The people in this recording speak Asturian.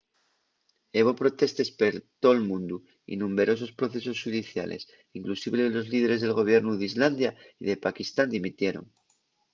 hebo protestes per tol mundu y numberosos procesos xudiciales inclusive los líderes del gobiernu d'islandia y de pakistán dimitieron